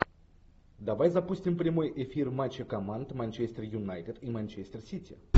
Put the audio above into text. давай запустим прямой эфир матча команд манчестер юнайтед и манчестер сити